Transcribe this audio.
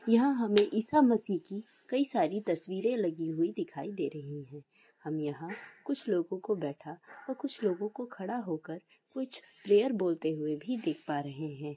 याहा हमे कीकाई सारी तसबीरे लागि हुई दिखाई दे रही हे हाम यहाकुछ लोगोको बैठा और कुछ लोगोको खड़ा होकार कुछ प्रैअर बोलते हुये देख पारहे हे।